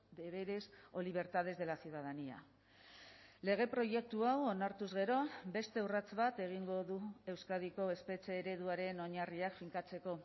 deberes o libertades de la ciudadanía lege proiektu hau onartuz gero beste urrats bat egingo du euskadiko espetxe ereduaren oinarriak finkatzeko